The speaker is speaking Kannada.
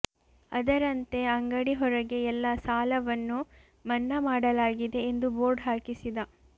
ಅದರಂತೆ ಅಂಗಡಿ ಹೊರಗೆ ಎಲ್ಲ ಸಾಲವನ್ನು ಮನ್ನಾ ಮಾಡಲಾಗಿದೆ ಎಂದು ಬೋರ್ಡ್ ಹಾಕಿಸಿದ